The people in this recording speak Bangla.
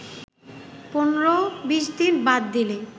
১৫-২০ দিন বাদ দিলে